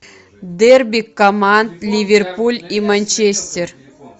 дерби команд ливерпуль и манчестер